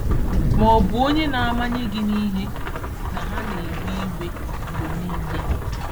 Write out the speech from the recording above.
Ma ọ bụ onye na-amanye gị n'ihi na ha na-ewe iwe mgbe niile?